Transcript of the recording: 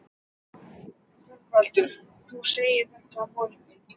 ÞORVALDUR: Þú segir þetta á morgun?